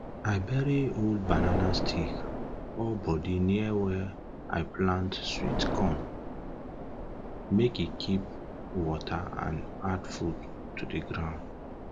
i bury old banana stick or body near where i plant plant sweet corn make e keep water and add food to ground